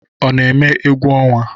Ọ na-eme egwu ọnwa?